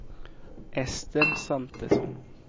Ester Svantesson